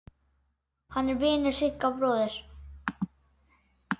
Hann er vinur Sigga bróður.